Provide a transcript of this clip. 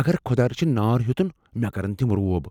اگر خۄداہ رٔچھن نار ہیوٚتن مےٚ کَرَن تِم روب۔